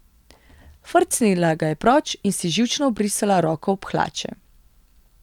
Frcnila ga je proč in si živčno obrisala roko ob hlače.